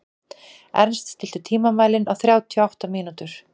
Ernst, stilltu tímamælinn á þrjátíu og átta mínútur.